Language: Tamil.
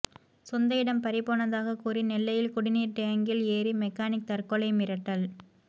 சொந்த இடம் பறிபோனதாக கூறி நெல்லையில் குடிநீர் டேங்க்கில் ஏறி மெக்கானிக் தற்கொலை மிரட்டல்